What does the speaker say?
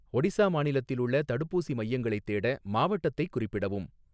ஒடிசா மாநிலத்தில் உள்ள தடுப்பூசி மையங்களைத் தேட, மாவட்டத்தைக் குறிப்பிடவும்